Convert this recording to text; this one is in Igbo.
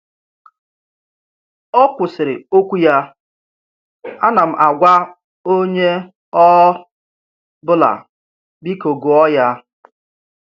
Ọ kwụsịrị okwu ya: Ana m agwa onye ọ bụla, Biko gụọ ya.